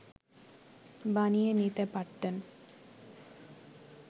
বানিয়ে নিতে পারতেন